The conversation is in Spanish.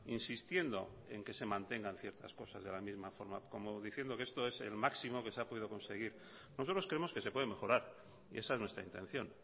insistiendo en que se mantengan ciertas cosas de la misma forma como diciendo que esto es el máximo que se ha podido conseguir nosotros creemos que se puede mejorar y esa es nuestra intención